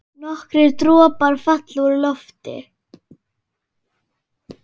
Nokkrir dropar falla úr lofti.